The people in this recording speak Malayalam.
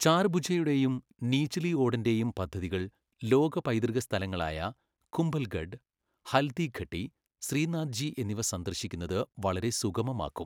ചാർഭുജയുടെയും നീച്ലി ഓഡന്റെയും പദ്ധതികൾ ലോക പൈതൃക സ്ഥലങ്ങളായ കുംഭല്ഗഡ്, ഹല്ദിഘട്ടി, ശ്രീനാഥ്ജി എന്നിവ സന്ദർശിക്കുന്നത് വളരെ സുഗമമാക്കും.